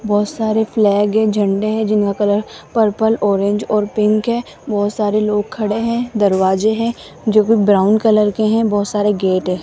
बहोत सारे फ्लैग हैं झंडे हैं जिनका कलर पर्पल ऑरेंज और पिंक है बहोत सारे लोग खड़े हैं दरवाजे हैं जो भी ब्राउन कलर के हैं बहोत सारे गेट है।